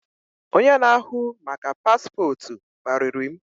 Onye na ahu maka Paspotu kpariri m